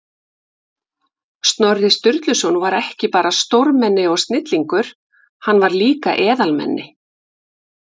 Snorri Sturluson var ekki bara stórmenni og snillingur, hann var líka eðalmenni.